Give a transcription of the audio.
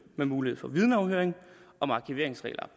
med mulighed for vidneafhøring af om arkiveringsregler